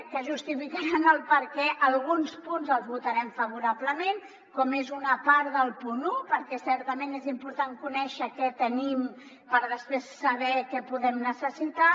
que justifiquen per què alguns punts els votarem favorablement com és una part del punt un perquè certament és important conèixer què tenim per a després saber què podem necessitar